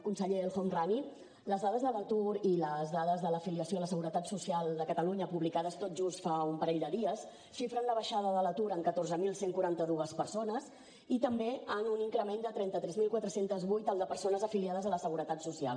conseller el homrani les dades de l’atur i les dades de la filiació a la seguretat social de catalunya publicades tot just fa un parell de dies xifren la baixada de l’atur en catorze mil cent i quaranta dos persones i també en un increment de trenta tres mil quatre cents i vuit el de persones afiliades a la seguretat social